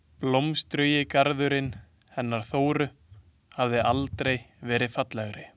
Blómstrugi garðurinn hennar Þóru hafði aldrei verið fallegri.